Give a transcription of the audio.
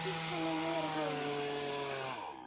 Snýr hana niður á hárinu.